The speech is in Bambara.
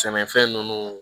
Sɛnɛfɛn ninnu